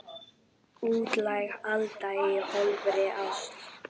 Útlæg Alda í ofríki ástar.